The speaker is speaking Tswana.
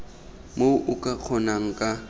moo o ka kgonang ka